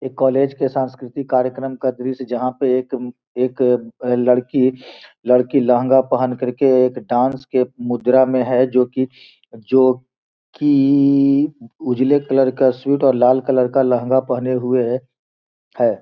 एक कॉलेज के सांस्कृतिक कार्यक्रम का दृश्य जहां पे एक एक लड़की लड़की लहंगा पहन कर के एक डांस के मुद्रा में है जो कि जो कि उजले कलर का सूट और लाल कलर का लहंगा पहने हुए है।